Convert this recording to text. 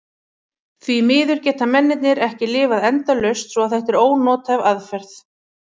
Því miður geta mennirnir ekki lifað endalaust svo að þetta er ónothæf aðferð.